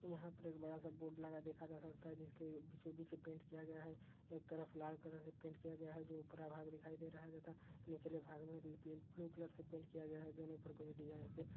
'' यहाँ पर एक बड़ा सा बोर्ड लगा देखा जा सकता है जिसके बीचों बीच पेंट किया गया है एक तरफ लाल कलर से पेंट किया गया है जो ऊपरा भाग दिखाई दे रहा है तथा निचले भाग में री पेंट ब्लू कलर से पेंट किया गया है। दोनों पर कोई डिजाइन से-''''-'''' ''